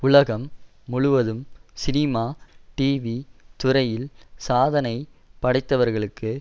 உலகம் முழுவதும் cinema TV துறையில் சாதனை படைத்தவர்களுக்கு